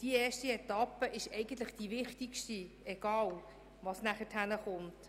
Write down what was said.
Die erste Etappe ist eigentlich die Wichtigste, egal was nachher kommt.